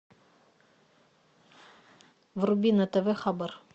вруби на тв хабар